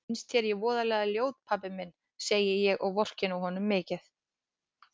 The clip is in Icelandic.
Finnst þér ég voðalega ljót pabbi minn, segi ég og vorkenni honum mikið.